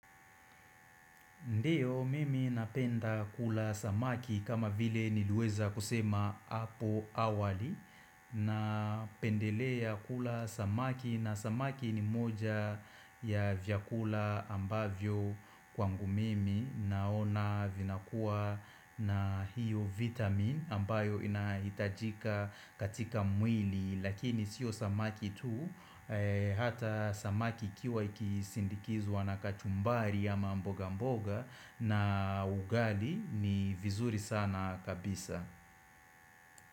Ndiyo mimi napenda kula samaki kama vile nilueza kusema apo awali na pendelea kula samaki na samaki ni moja ya vyakula ambavyo kwangu mimi Naona vinakua na hiyo vitamin ambayo inahitajika katika mwili Lakini sio samaki tu Hata samaki kiwa ikisindikizwa na kachumbari ya mambo mbogamboga na ugali ni vizuri sana kabisa.